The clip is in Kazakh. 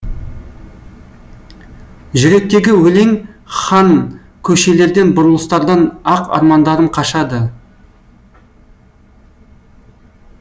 жүректегі өлең хан көшелерден бұрылыстардан ақ армандарым қашады